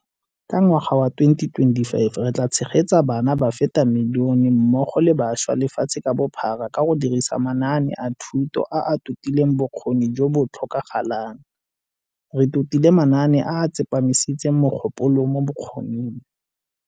Ka ngwaga wa 2025, re tla tshegetsa bana ba feta milione mmogo le bašwa lefatshe ka bophara ka go dirisa manaane a thuto a a totileng bokgoni jo bo tlhokagalang, re totile manaane a a tsepamisitseng mogopolo mo bokgoning.